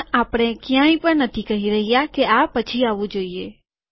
પણ આપણે ક્યાંય પણ નથી કહી રહ્યા કે આ પછી આવવું જોઈએ